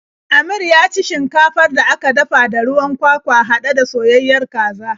Amir ya ci shinkafar da aka dafa da ruwan kwakwa haɗe da soyayayen kaza.